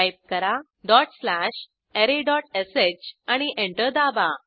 type करा dot slash arrayश आणि एंटर दाबा